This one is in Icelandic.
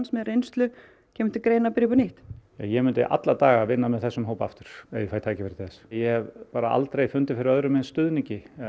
með reynslu kemur til greina að byrja upp á nýtt já ég myndi alla daga vinna með þessum hóp aftur ef ég fæ tækifæri til þess ég hef bara aldrei fundið fyrir öðrum eins stuðningi